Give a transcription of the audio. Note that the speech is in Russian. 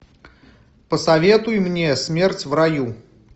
посоветуй мне смерть в раю